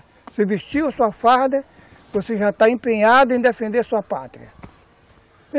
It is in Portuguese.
Você vestiu a sua farda, você já está empenhado em defender a sua pátria.